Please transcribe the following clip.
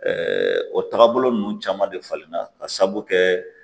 o tagabolo ninnu caman de falen na ka sababu kɛ